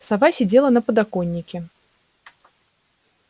сова сидела на подоконнике